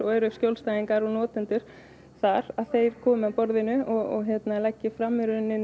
eru skjólstæðingar og notendur þar þeir komi að borðinu og leggi fram